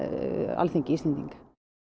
Alþingi Íslendinga